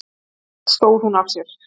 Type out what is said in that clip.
En allt stóð hún af sér.